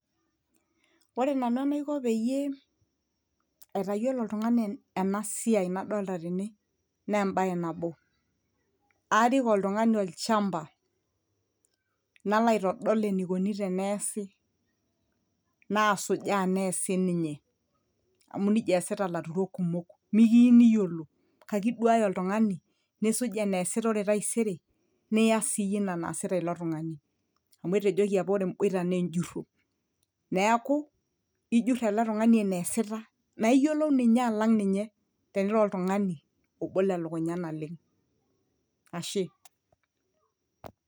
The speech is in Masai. ore nanu enaiko peyie aitayiolo oltung'ani ena siai nadolta tene naa embaye nabo arik oltung'ani olchamba nalo aitodol enikoni teneesi nasujaa nees sininye amu nijia eesita ilaturok kumok mikiini iyiolo kake iduaya oltung'ani nisuj eneesita ore taisere niyas siyie ina naasita ilo tung'ani amu etejoki apa ore emboita naa enjurro neeku ijurr ele tung'ani eneesita naa iyiolou ninye alang ninye tenira oltung'ani obolo elukunya naleng ashe.